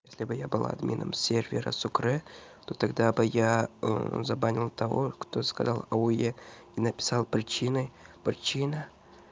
если бы я был админом сервера сукрэ но то тогда бы я забанил того кто сказал ауе и написал причиной причина